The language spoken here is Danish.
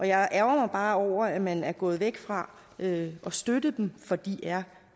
jeg ærgrer mig bare over at man er gået væk fra at støtte dem for de er